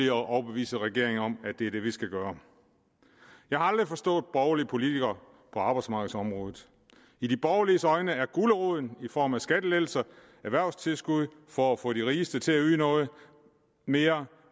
at overbevise regeringen om at det er det vi skal gøre jeg har aldrig forstået borgerlige politikere på arbejdsmarkedsområdet i de borgerliges øjne er guleroden i form af skattelettelser og erhvervstilskud for at få de rigeste til at yde noget mere